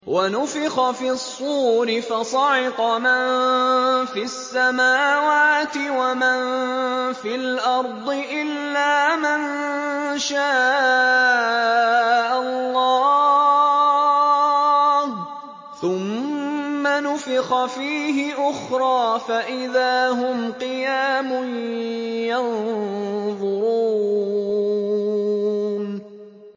وَنُفِخَ فِي الصُّورِ فَصَعِقَ مَن فِي السَّمَاوَاتِ وَمَن فِي الْأَرْضِ إِلَّا مَن شَاءَ اللَّهُ ۖ ثُمَّ نُفِخَ فِيهِ أُخْرَىٰ فَإِذَا هُمْ قِيَامٌ يَنظُرُونَ